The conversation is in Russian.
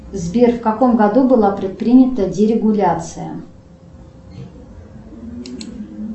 сбер в каком году была предпринята дерегуляция